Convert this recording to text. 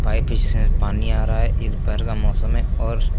पीछे से पानी आ रहा है ये दोपहर का मौसम है और--